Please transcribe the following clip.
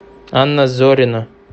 анна зорина